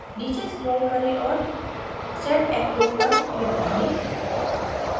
नीचे scroll करें और set active पर click करें